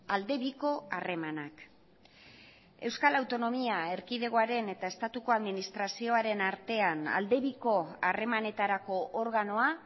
aldebiko harremanak euskal autonomia erkidegoaren eta estatuko administrazioaren artean aldebiko harremanetarako organoa